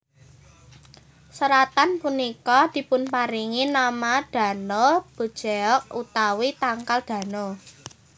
Seratan punika dipunparingi nama Dano bujeok utawi tangkal Dano